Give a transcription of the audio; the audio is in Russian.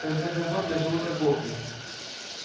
в конце концов я живу торговлей